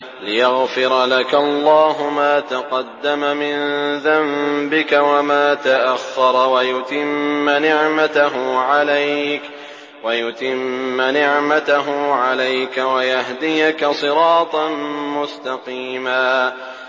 لِّيَغْفِرَ لَكَ اللَّهُ مَا تَقَدَّمَ مِن ذَنبِكَ وَمَا تَأَخَّرَ وَيُتِمَّ نِعْمَتَهُ عَلَيْكَ وَيَهْدِيَكَ صِرَاطًا مُّسْتَقِيمًا